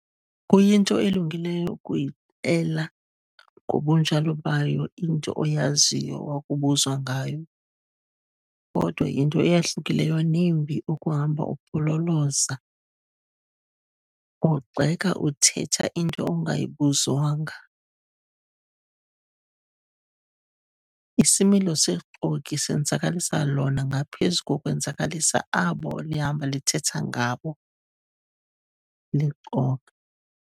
Kuyinto elungileyo ukuyixela ngobunjalo bayo into oyaziyo wakubuzwa ngayo, kodwa yinto eyahlukileyo nembi ukuhamba upololoza, ugxeka uthetha into ongayibuzwanga. Isimilo sexoki senzakalisa lona ngaphezu kokwenzakalisa abo lihamba lithetha ngabo, lixoka.